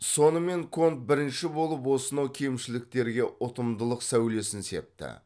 сонымен конт бірінші болып осынау кемшіліктерге ұтымдылық сәулесін септі